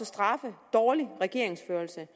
straffe dårlig regeringsførelse